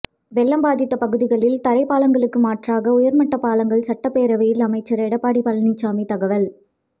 வெள்ளம் பாதித்த பகுதிகளில் தரைப்பாலங்களுக்கு மாற்றாக உயர்மட்ட பாலங்கள் சட்டப்பேரவையில் அமைச்சர் எடப்பாடி பழனிச்சாமி தகவல்